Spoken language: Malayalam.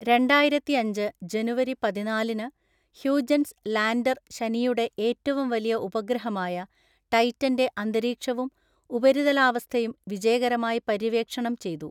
രണ്ടായിരത്തിഅഞ്ച് ജനുവരി പതിനാലിന്, ഹ്യൂജൻസ് ലാൻഡർ ശനിയുടെ ഏറ്റവും വലിയ ഉപഗ്രഹമായ ടൈറ്റന്‍റെ അന്തരീക്ഷവും ഉപരിതലാവസ്ഥയും വിജയകരമായി പര്യവേക്ഷണം ചെയ്തു.